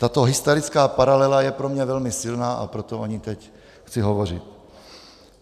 Tato historická paralela je pro mě velmi silná, a proto o ní teď chci hovořit.